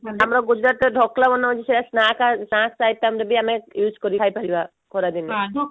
ଆମର ଗୁଜୁରାଟ ର ଢୋକଲା ବନ ହଉଛି ସେଟା snack snacks item ଯଦି ଆମେ use କରି ଖାଇ ପାରିବା ଖରା ଦିନେ